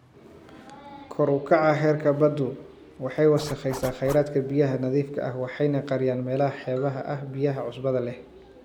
Kor u kaca heerka baddu waxay wasakhaysaa kheyraadka biyaha nadiifka ah waxayna qariyaan meelaha xeebaha ah biyaha cusbada leh.